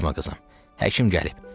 Qorxma qızım, həkim gəlib.